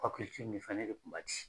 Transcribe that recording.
nin fɛn ne de kun b'a ci.